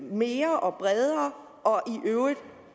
mere og bredere i øvrigt